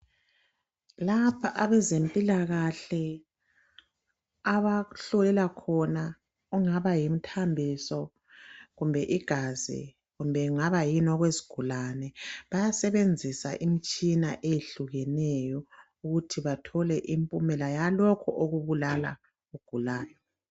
Lapha abazemphilakahle abahlolela khona, kungaba yimthambiso kumbe igazi, kumbe kungaba yini okwesgulane, bayasebenzisa imitshina eyehlukeneyo ukuthi bathole imphimela yalokhu okubulala ogulayo.